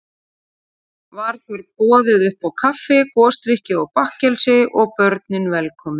Var þar boðið uppá kaffi, gosdrykki og bakkelsi, og börnin velkomin.